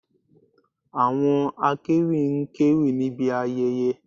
Àwọn akéwì ń kéwì níbi ayẹyẹ